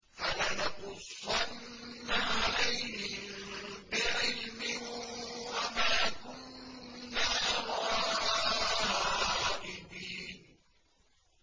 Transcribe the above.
فَلَنَقُصَّنَّ عَلَيْهِم بِعِلْمٍ ۖ وَمَا كُنَّا غَائِبِينَ